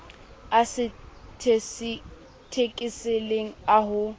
a sa thekeseleng a ho